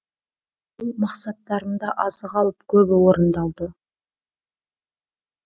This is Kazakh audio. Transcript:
ол мақсаттарымда азы қалып көбі орындалды